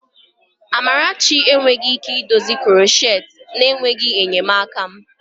Amarachi enweghị ike idozi krocheti na-enweghị enyemaka m.